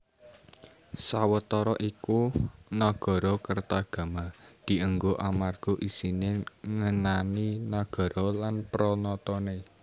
Sawetara iku Nagarakretagama dienggo amarga isine ngenani nagara lan pranatane